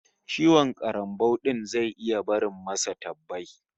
Ciwon karambau din sa zai iya barin sa da tabbai